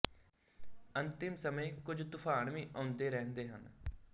ਅੰਤਿਮ ਸਮੇਂ ਕੁਝ ਤੂਫ਼ਾਨ ਵੀ ਆਉਂਦੇ ਰਹਿੰਦੇ ਹਨ